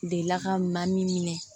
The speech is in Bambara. Delila ka maa min minɛ